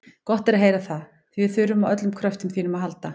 Gott er að heyra það, því við þurfum á öllum kröftum þínum að halda.